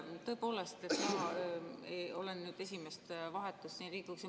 Tõepoolest, olen esimest vahetust siin Riigikogus.